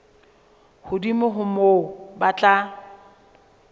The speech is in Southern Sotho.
hodimo ho moo ba tla